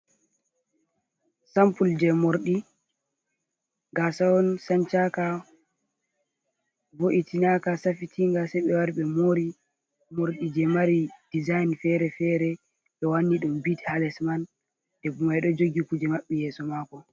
Sampul jei morɗi, gaasa on sancaka, bo’itinaka safitinga saiɓe wari ɓe mori, morɗi je mari dizayin fere-fere ɓe wanni ɗum bit hales man, debbo mai ɗojogi kuje maɓɓi yeso mako.